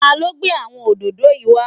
Ta ló gbé àwọn òdòdó yìí wá?